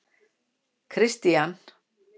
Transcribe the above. Kristian